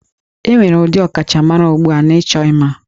E nwere ndị ọkachamara ugbu a n'ịchọ ima